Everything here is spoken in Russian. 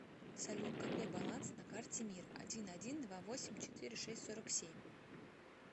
салют какой баланс на карте мир один один два восемь четыре шесть сорок семь